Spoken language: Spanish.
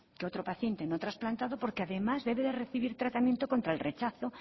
que otro paciente no trasplantado porque además debe de recibir tratamiento contra el rechazo